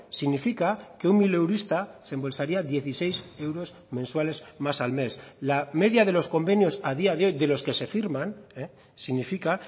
significa que un mileurista se embolsaría dieciséis euros mensuales más al mes la media de los convenios a día de hoy de los que se firman significa